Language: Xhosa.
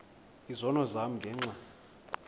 izono zam ngenxa